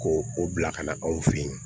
Ko o bila ka na anw fe yen